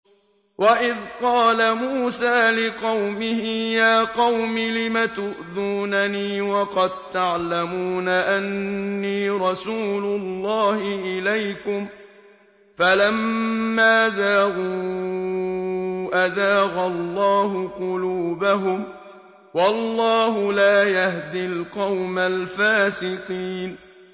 وَإِذْ قَالَ مُوسَىٰ لِقَوْمِهِ يَا قَوْمِ لِمَ تُؤْذُونَنِي وَقَد تَّعْلَمُونَ أَنِّي رَسُولُ اللَّهِ إِلَيْكُمْ ۖ فَلَمَّا زَاغُوا أَزَاغَ اللَّهُ قُلُوبَهُمْ ۚ وَاللَّهُ لَا يَهْدِي الْقَوْمَ الْفَاسِقِينَ